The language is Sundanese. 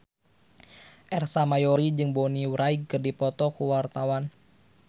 Ersa Mayori jeung Bonnie Wright keur dipoto ku wartawan